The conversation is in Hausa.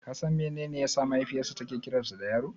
Ka san menene yasa mahaifiyarsa take kiransa da Yaro?